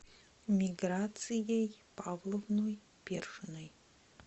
миграцией павловной першиной